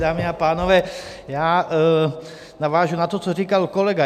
Dámy a pánové, já navážu na to, co říkal kolega.